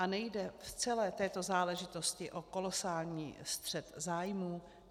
A nejde v celé této záležitosti o kolosální střet zájmů?